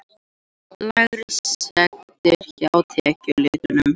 Lægri sektir hjá tekjulitlum